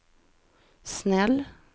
snäll